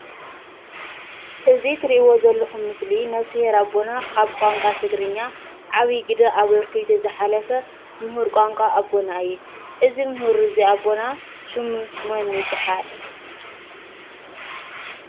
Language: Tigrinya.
እዚ ትሪእይዎ ዘለኹም ምስሊ ነብስሄር አቦና አብ ቋንቋ ትግርኛ ዓብይ ግደ አበርኪቱ ዝሓለፈ ሙሁር ቋንቋ አቦና እዩ። እዚ ሙሁር እዚ አቦና ሹሙ መን ይበሃል?